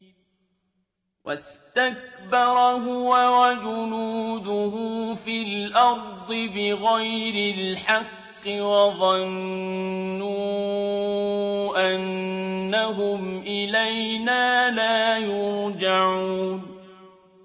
وَاسْتَكْبَرَ هُوَ وَجُنُودُهُ فِي الْأَرْضِ بِغَيْرِ الْحَقِّ وَظَنُّوا أَنَّهُمْ إِلَيْنَا لَا يُرْجَعُونَ